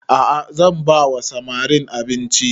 A'a zan ba wa samarin abinci